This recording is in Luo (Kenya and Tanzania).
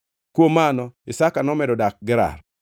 Kuom mano Isaka nomedo dak Gerar.